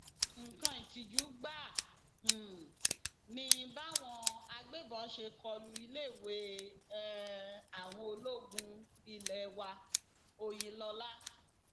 nǹkan ìtìjú gbáà um ni báwọn agbébọn ṣe kó lu iléèwé um àwọn ológun ilé waòyìnlọla